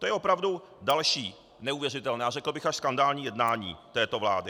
To je opravdu další neuvěřitelné a řekl bych až skandální jednání této vlády.